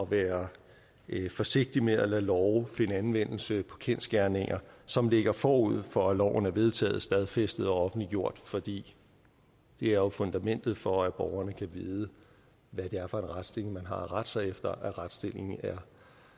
være forsigtig med at lade love finde anvendelse på kendsgerninger som ligger forud for at loven er vedtaget stadfæstet og offentliggjort for det er jo fundamentet for at borgerne kan vide hvad det er for en retsstilling de har at rette sig efter at retsstillingen er